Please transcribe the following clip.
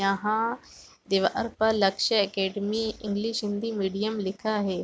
यहाँ दीवाल पर लक्ष्य अकादमी इंगिलश हिंदी मध्यम लिखा है।